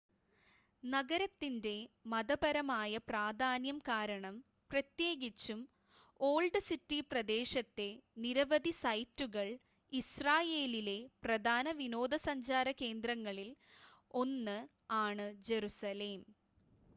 നഗരത്തിൻ്റെ മതപരമായ പ്രാധാന്യം കാരണം പ്രത്യേകിച്ചും ഓൾഡ് സിറ്റി പ്രദേശത്തെ നിരവധി സൈറ്റുകൾ ഇസ്രായേലിലെ പ്രധാന വിനോദസഞ്ചാര കേന്ദ്രങ്ങളിൽ 1 ആണ് ജറുസലേം